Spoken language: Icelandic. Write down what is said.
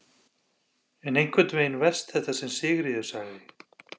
En samt einhvern veginn verst þetta sem Sigríður sagði.